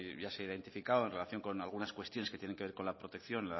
ya se ha identificado en relación con algunas cuestiones que tienen que ver con la protección